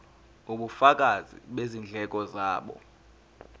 ubufakazi bezindleko zabo